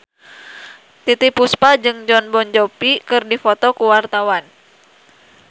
Titiek Puspa jeung Jon Bon Jovi keur dipoto ku wartawan